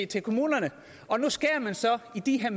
til kommunerne og nu skærer man så i de her